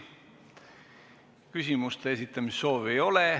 Küsimuste esitamise soovi ei ole.